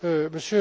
du monde.